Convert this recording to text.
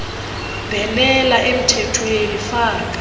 bhenela emthethweni faka